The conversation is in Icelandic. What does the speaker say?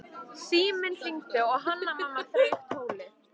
Síminn hringdi og Hanna-Mamma þreif tólið.